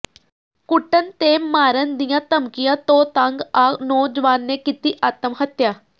ਕੁੱਟਣ ਤੇ ਮਾਰਨ ਦੀਆਂ ਧਮਕੀਆਂ ਤੋਂ ਤੰਗ ਆ ਨੌਜਵਾਨ ਨੇ ਕੀਤੀ ਆਤਮਹੱਤਿਆ